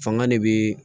Fanga de bɛ